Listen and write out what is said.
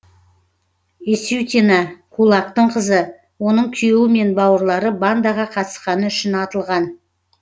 есютина кулактың қызы оның күйеуі мен бауырлары бандаға қатысқаны үшін атылған